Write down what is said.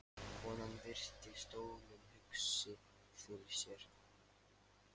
Konan virti stólinn hugsi fyrir sér.